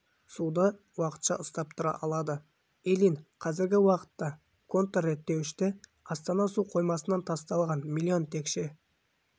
суды уақытша ұстап тұра алады ильин қазіргі уақытта контрреттеуіште астана су қоймасынан тасталған млн текше